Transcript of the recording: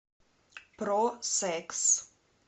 про секс